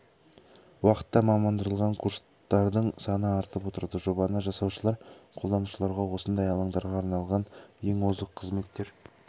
уақытта мамандандырылған курстардың саны артып отырады жобаны жасаушылар қолданушыларға осындай алаңдарға арналған ең озық қызметтер